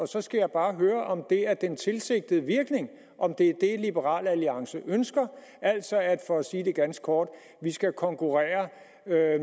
så skal jeg bare høre om det er den tilsigtede virkning om det er det liberal alliance ønsker altså at for at sige det ganske kort vi skal konkurrere